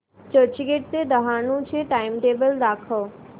चर्चगेट ते डहाणू चे टाइमटेबल दाखव